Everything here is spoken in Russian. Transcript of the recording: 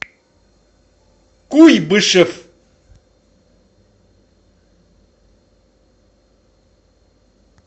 куйбышев